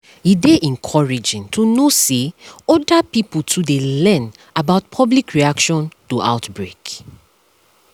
e dey encouraging to know to know say other pipo too dey learn about public reaction to outbreak